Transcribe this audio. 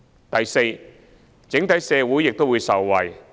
第四，整體社會受惠。